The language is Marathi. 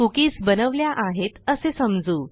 कुकीज बनवल्या आहेत असे समजू